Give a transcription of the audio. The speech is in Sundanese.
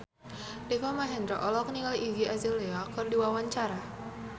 Deva Mahendra olohok ningali Iggy Azalea keur diwawancara